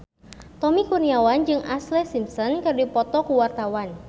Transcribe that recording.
Tommy Kurniawan jeung Ashlee Simpson keur dipoto ku wartawan